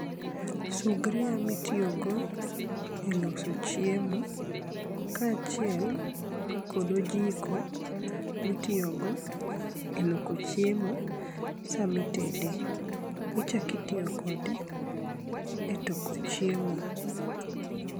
Sugria mitiyogo, e loso chiem ka achiel kod ojiko mitiyogo e loko chiemo sa mitede. Ichak itiyokode e toko chiemo.